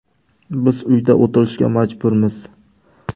Biz uyda o‘tirishga majburmiz.